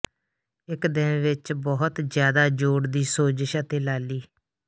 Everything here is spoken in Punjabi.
ਇੱਕ ਦਿਨ ਵਿੱਚ ਬਹੁਤ ਜ਼ਿਆਦਾ ਜੋੜ ਦੀ ਸੋਜਸ਼ ਅਤੇ ਲਾਲੀ